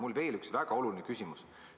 Mul on veel üks väga oluline küsimus.